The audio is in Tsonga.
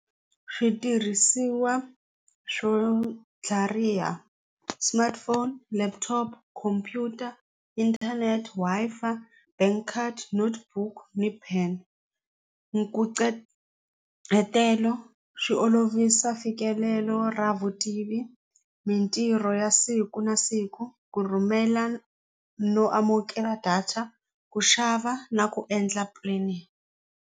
Switirhisiwa swo tlhariha smartphone laptop computer inthanete Wi Fi bank card note book ni pin swi olovisa mfikelelo ra vutivi mintirho ya siku na siku ku rhumela no amukela data ku xava na ku endla planning.